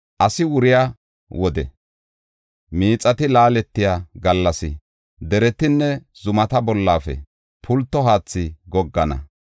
Asi wuriya wode miixati laaletiya gallas deretanne zumata bollafe pulto haathi goggana.